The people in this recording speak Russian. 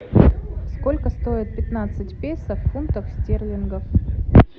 сколько стоит пятнадцать песо в фунтах стерлингов